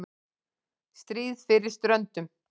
STRÍÐ FYRIR STRÖNDUM